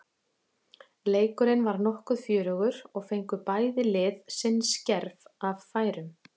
Leikurinn var nokkuð fjörugur og fengu bæði lið sinn skerf af færum.